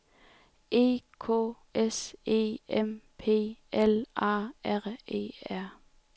E K S E M P L A R E R